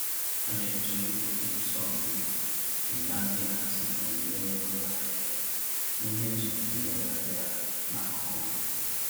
Ha na-eji ụtụtụ Sọnde enye aka ịhazi onyinye n’ụlọ ahịa ihe eji emegharịa n’akụkụ ha.